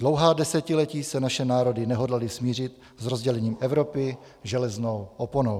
Dlouhá desetiletí se naše národy nehodlaly smířit s rozdělením Evropy železnou oponou.